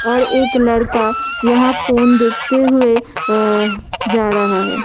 और एक लड़का यहां फोन देखते हुए अ जा रहा है।